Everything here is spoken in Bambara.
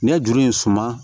N'i ye juru in suma